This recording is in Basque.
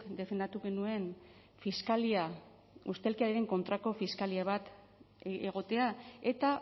defendatu genuen fiskalia ustelkeriaren kontrako fiskalia bat egotea eta